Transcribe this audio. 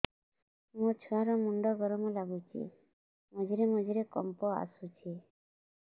ମୋ ଛୁଆ ର ମୁଣ୍ଡ ଗରମ ଲାଗୁଚି ମଝିରେ ମଝିରେ କମ୍ପ ଆସୁଛି